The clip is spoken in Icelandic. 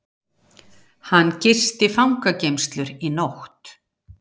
Hann gisti fangageymslur í nótt